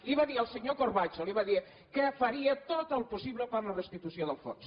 li va dir el senyor corbacho li va dir que faria tot el possible per a la restitució del fons